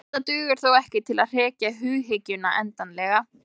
Þetta dugar þó ekki til að hrekja hughyggjuna endanlega.